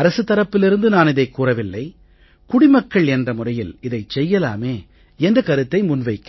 அரசு தரப்பிலிருந்து நான் இதைக் கூறவில்லை குடிமக்கள் என்ற முறையில் இதைச் செய்யலாமே என்ற கருத்தை முன் வைக்கிறேன்